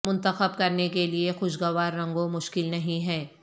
منتخب کرنے کے لئے خوشگوار رنگوں مشکل نہیں ہے